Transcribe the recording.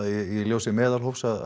í ljósi meðalhófs að